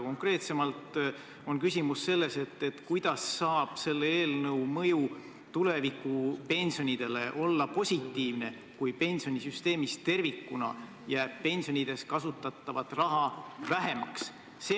Konkreetsemalt on küsimus selles, kuidas saab selle eelnõu mõju tuleviku pensionidele olla positiivne, kui pensionisüsteemis tervikuna jääb pensionideks kasutatavat raha vähemaks.